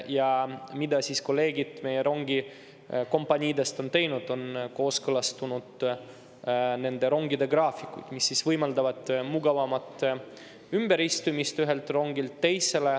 Ja kolleegid meie rongikompaniidest on kooskõlastanud nende rongide graafikud, mis võimaldavad mugavamat ümberistumist ühelt rongilt teisele.